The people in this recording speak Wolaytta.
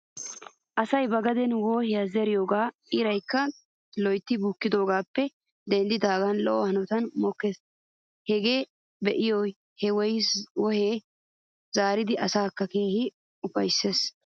Asay ba gaden wohiyaa zeridoogee iraykka loytti bukkidoogaappe denddidaagan lo'o hanotan mokkis. Hegaa be'iya he wohiyaa zerida asatikka keehi ufayttidosona.